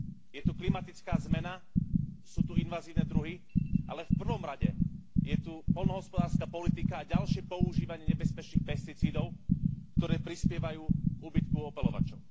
Je to klimatická zmena, sú tu invazívne druhy, ale v prvom rade je tu poľnohospodárska politika a ďalšie používanie nebezpečných pesticídov, ktoré prispievajú k úbytku opeľovačov.